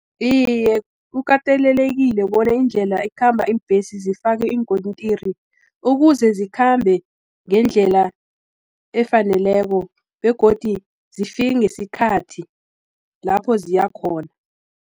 Iye, kukatelelekile bona indlela ekhamba iimbhesi zifakwe iinkontiri, ukuze zikhambe ngendlela efaneleko, begodi zifike ngesikhathi lapho ziyakhona.